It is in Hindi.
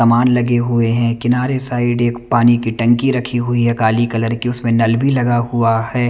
कमान लगे हुए है किनारे साइड एक पानी की टंकी रखी हुई है काली कलर की उसमें नल भी लगा हुआ है।